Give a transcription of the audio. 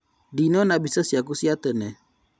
Nĩndona mbica ciaku cia tene